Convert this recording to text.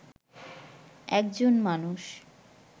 একজন মানুষ